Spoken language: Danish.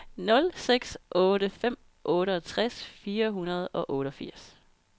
nul seks otte fem otteogtres fire hundrede og otteogfirs